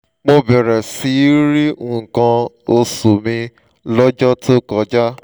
mo bẹ̀rẹ̀ sí í rí nǹkan oṣù mi lọ́jọ́ tó kọjá